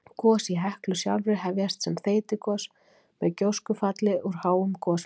Gos í Heklu sjálfri hefjast sem þeytigos með gjóskufalli úr háum gosmekki.